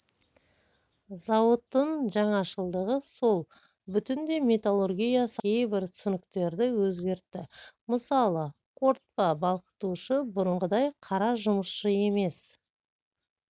зауыттың жаңашылдығы сол бүтіндей металлургия саласындағы кейбір түсініктерді өзгертті мысалы қорытпа балқытушы бұрынғыдай қара жұмысшы емес